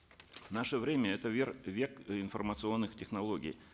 наше время это век информационных технологий